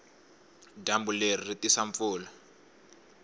dyambu leri ri tisa mpfula